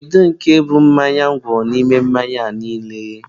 Kedu nke bụ mmanya ngwọ n'ime mmanya niile a?